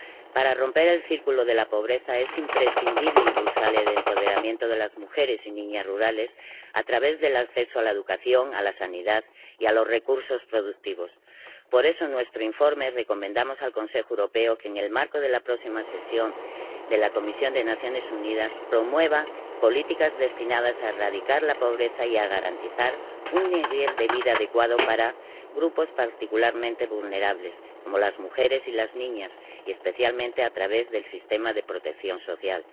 Para romper el círculo de la pobreza es imprescindible impulsar el empoderamiento de las mujeres y las niñas rurales a través del acceso a la educación, a la sanidad y a los recursos productivos. Por eso, en nuestro informe, recomendamos al Consejo que, en el marco de la próxima sesión de la Comisión de las Naciones Unidas, promueva políticas destinadas a erradicar la pobreza y a garantizar un nivel de vida adecuado para grupos particularmente vulnerables, como las mujeres y las niñas, y especialmente a través del sistema de protección social